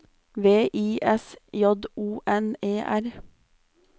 V I S J O N E R